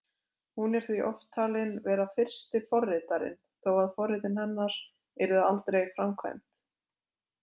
Hún er því oft talin vera fyrsti forritarinn, þó að forritin hennar yrðu aldrei framkvæmd.